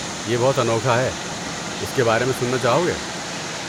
یہ بہت انوکھا ہے، اس کے بارے میں سننا چاہو گے؟